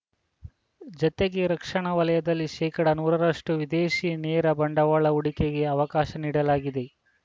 ಜತೆಗೆ ರಕ್ಷಣಾ ವಲಯದಲ್ಲಿ ಶೇಕಡಾ ನೂರರಷ್ಟು ವಿದೇಶಿ ನೇರ ಬಂಡವಾಳ ಹೂಡಿಕೆಗೆ ಅವಕಾಶ ನೀಡಲಾಗಿದೆ